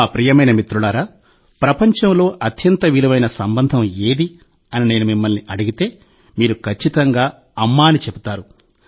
నా ప్రియమైన మిత్రులారా ప్రపంచంలో అత్యంత విలువైన సంబంధం ఏది అని నేను మిమ్మల్ని అడిగితే మీరు ఖచ్చితంగా 'అమ్మ' అని చెప్తారు